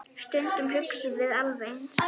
Stundum hugsum við alveg eins.